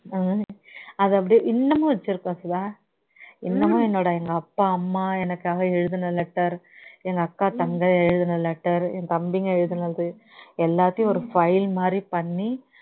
ஹம் அதை அப்படியே இன்னுமும்வச்சி இருக்ககேன் சுதா இன்னுமோ என்னொட எங்க அப்பா அம்மா எனக்காக எழுதுன letter எங்க அக்கா தங்கை எழுதுன letter என் தம்பிங்க எழுதுனது எல்லாத்தையும் ஒரு file மாதிரி பண்ணி